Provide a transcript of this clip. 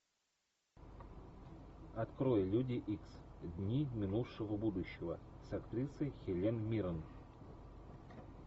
открой люди икс дни минувшего будущего с актрисой хелен миррен